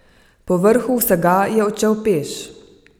Povrhu vsega je odšel peš!